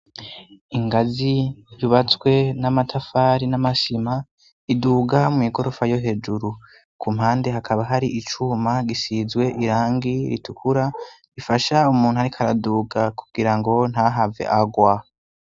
Ingazi ribazwe n'amatafari n'amashima iduga mw'igorofa yo hejuru ku mpande hakaba hari icuma gisizwe irangi ritukura rifasha umuntu, ariko araduga kugira ngo ntahave agwa.